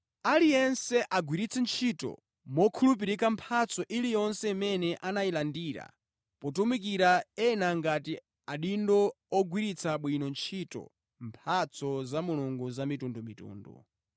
Aliyense agwiritse ntchito mokhulupirika mphatso iliyonse imene anayilandira potumikira ena ngati adindo ogwiritsa bwino ntchito mphatso za Mulungu za mitundumitundu.